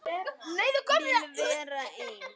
Vil vera ein.